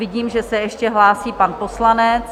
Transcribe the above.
Vidím, že se ještě hlásí pan poslanec.